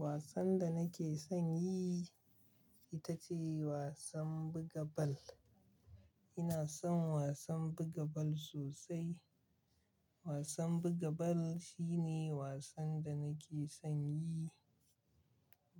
Wasan da nake son yi ita ce wasan buga bal. Ina son wasan buga bal sosai. Wasan buga bal shine wasan da nake son yi.